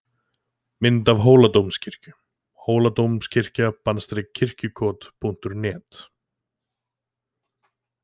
Mynd af Hóladómkirkju: Hóladómkirkja- Kirkjukot.net.